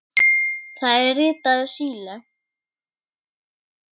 Það er ritað Síle.